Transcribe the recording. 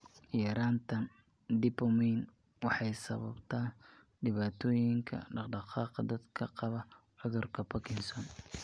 Yaraantan dopamine waxay sababtaa dhibaatooyinka dhaqdhaqaaqa dadka qaba cudurka Parkinson.